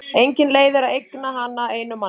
Engin leið er að eigna hana einum manni.